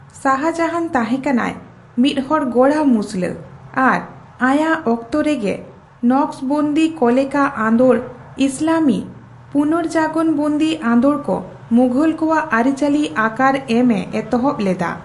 ᱥᱟᱦᱟᱡᱟᱦᱟᱱ ᱛᱟᱦᱮᱸᱠᱟᱱᱟᱭ ᱢᱤᱫᱦᱚᱲ ᱜᱚᱸᱲᱟ ᱢᱩᱥᱞᱟᱹ ᱟᱨ ᱟᱭᱟᱜ ᱚᱠᱛᱚᱨᱮᱜᱮ ᱱᱚᱠᱚᱥᱵᱚᱱᱫᱤ ᱠᱚᱞᱮᱠᱟ ᱟᱸᱫᱳᱲ ᱤᱥᱞᱟᱢᱤ ᱯᱩᱱᱚᱨᱡᱟᱜᱚᱱᱵᱟᱹᱫᱤ ᱟᱸᱫᱳᱲ ᱠᱚ ᱢᱩᱜᱷᱳᱞ ᱠᱚᱣᱟᱜ ᱟᱹᱨᱤᱪᱟᱹᱞᱤ ᱟᱠᱟᱨ ᱮᱢ ᱮ ᱮᱛᱚᱦᱚᱵ ᱞᱮᱫᱟ ᱾